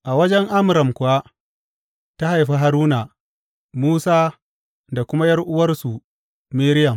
A wajen Amram kuwa ta haifi Haruna, Musa da kuma ’yar’uwarsu Miriyam.